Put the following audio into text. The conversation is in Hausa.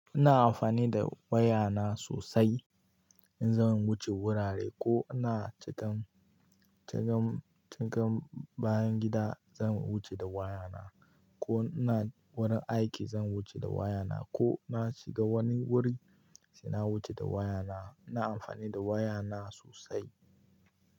Ina amfani da waya na sosai, in zan wuce wurare ko ina cikan, cikan, cikan bayan gida zan wuce da waya na, ko ina wurin aiki zan wuce da waya na, ko na shiga wani wuri sai na wuce da waya na. Ina amfani da waya na sosai.